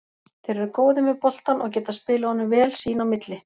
Þeir eru góðir með boltann og geta spilað honum vel sín á milli.